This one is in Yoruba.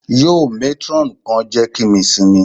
Yoo matron kan jẹ ki mi simi